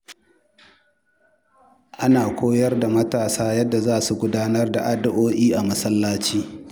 Ana koyar da matasa yadda za su gudanar da addu’o’i a masallaci.